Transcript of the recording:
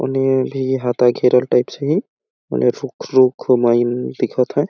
ओने भी हात्था घेरल टाइप से हे ओने रुख रूखवाईन दिख थे--